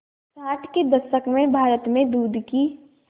साठ के दशक में भारत में दूध की